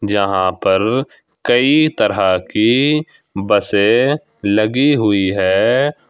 जहां पर कई तरह की बसें लगी हुई है।